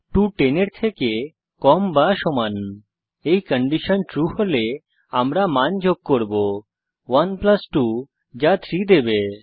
2 10 এর থেকে কম বা সমান এই কন্ডিশন ট্রু হলে আমরা মান যোগ করব 1 প্লাস 2 যা 3 দেবে